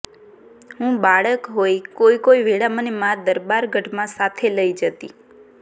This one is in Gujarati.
હું બાળક હોઇ કોઇ કોઇ વેળા મને મા દરબારગઢમાં સાથે લઇ જતી